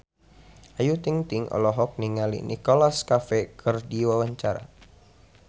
Ayu Ting-ting olohok ningali Nicholas Cafe keur diwawancara